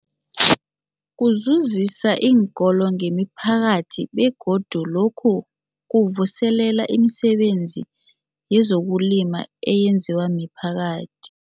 Kuzuzisa iinkolo nemiphakathi begodu lokhu kuvuselela imisebenzi yezokulima eyenziwa miphakathi.